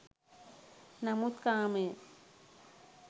නමුත් කාමය